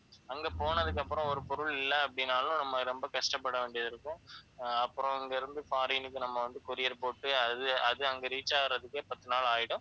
அங்க போனதுக்கு அப்புறம் ஒரு பொருள் இல்லை அப்படின்னாலும் நம்ம ரொம்ப கஷ்டப்பட வேண்டியது இருக்கும். அஹ் அப்புறம் இங்கே இருந்து foreign க்கு நம்ம வந்து courier போட்டு அது அது அங்கே reach ஆகறதுக்கே பத்து நாள் ஆயிடும்